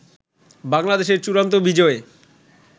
বাংলাদেশের চূড়ান্ত বিজয়ে